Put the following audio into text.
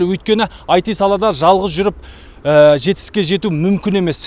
өйткені іт саласында жалғыз жүріп жетістікке мүмкін емес